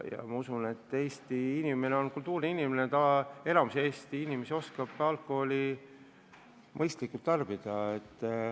Ma usun, et Eesti inimene on kultuurne inimene, enamik Eesti inimesi oskab alkoholi mõistlikult tarbida.